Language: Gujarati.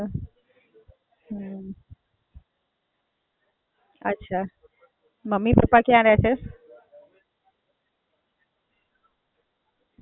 મમ્મી-પપ્પા કયા રહે છે?